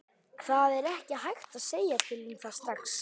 Það er ekki hægt að segja til um það strax.